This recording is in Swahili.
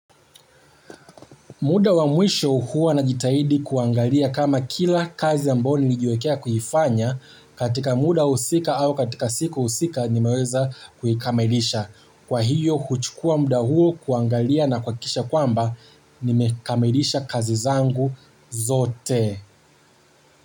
Muda wa mwisho huwa na jitahidi kuangalia kama kila kazi ambayo ni lijiwekea kuifanya katika muda husika au katika siku husika nimeweza kuikamilisha. Kwa hiyo huchukua muda huo kuangalia na kuhakisha kwamba nimekamilisha kazi zangu zote.